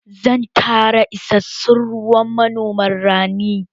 Zan tanada isassun ruwa ma noman rani